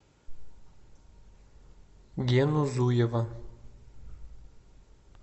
гену зуева